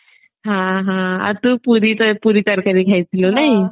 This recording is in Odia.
ହଁ ହଁ ଆଉ ତୁ ପୁରୀ ତରକାରୀ ଖାଇଥିଲୁ ନାଇଁ